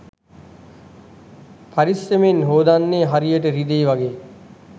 පරිස්සමෙන් හෝදන්නේ හරියට රිදෙයි වගෙ